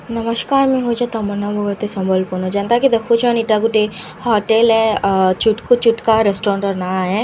ନମସ୍କାର ମୁଁଇ ହଉଛେ ତମନ୍ନା ବଗର୍ତ୍ତୀ ସମ୍ବଲପୁର ନୁ ଯେନ୍ତା କି ଦେଖୁଛନ୍ ଇଟା ଗୁଟେ ହୋଟେଲ ଏ ଆ ଚୁଟକୁ ଚୁଟକା ରେଷ୍ଟୁରାଣ୍ଟ ର ନାଁ ଏ ଆ--